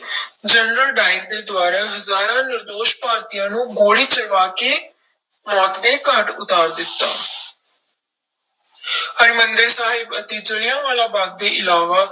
general Dyer ਦੇ ਦੁਆਰਾ ਹਜ਼ਾਰਾਂ ਨਿਰਦੋਸ਼ ਭਾਰਤੀਆਂ ਨੂੰ ਗੋਲੀ ਚਲਵਾ ਕੇ ਮੌਤ ਦੇ ਘਾਟ ਉਤਾਰ ਦਿੱਤਾ ਹਰਿਮੰਦਰ ਸਾਹਿਬ ਅਤੇ ਜ਼ਿਲ੍ਹਿਆਂ ਵਾਲਾ ਬਾਗ਼ ਦੇ ਇਲਾਵਾ